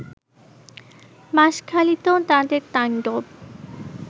বাশঁখালীতেও তাদের তাণ্ডব